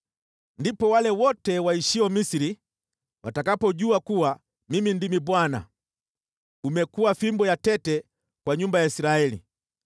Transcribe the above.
Ndipo wale wote waishio Misri watakapojua kuwa Mimi ndimi Bwana .“ ‘Umekuwa fimbo ya tete kwa nyumba ya Israeli.